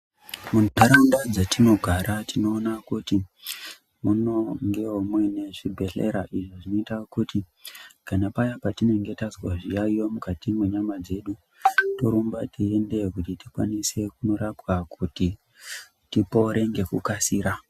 Muntaraunda dzatinogara tinoona kuti munongewo muine zvibhedhlera izvo zvinoita kuti kana paya patinenge tazwa zviyaiyi mukati mwenyama dzedu torumba teindeyo kuti tikwanise kunorapwa kuti tipore nekukasira.